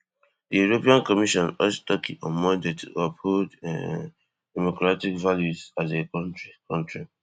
di european commission urge turkey on monday to uphold um democratic values as a kontri kontri